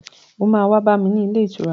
O máa wá bá mi ní ilé ìtura.